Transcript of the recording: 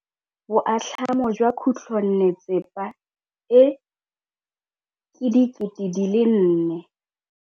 Boatlhamô jwa khutlonnetsepa e, ke 400.